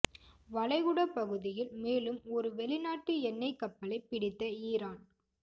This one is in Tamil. வளைகுடா பகுதியில் மேலும் ஒரு வெளிநாட்டு எண்ணெய் கப்பலை பிடித்த இரான்